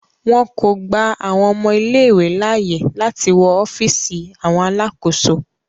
Wọn ko gba awọn ọmọ ìlé-ìwé laaye lati wọ ọfiisi awọn alakoso.